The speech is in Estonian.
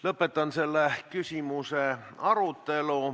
Lõpetan selle küsimuse arutelu.